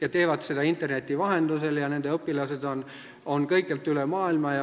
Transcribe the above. Nad teevad seda interneti vahendusel ja nende õpilased on kõikjalt üle maailma.